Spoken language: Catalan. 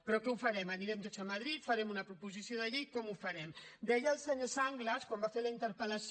però com ho farem anirem tots a madrid farem una proposició de llei com ho farem deia el senyor sanglas quan va fer la interpel·lació